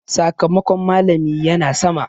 Sakamakon malami ya na sama.